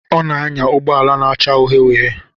Ọ na-anya ụgbọ ala na-acha uhie uhie.